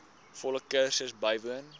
volle kursus bywoon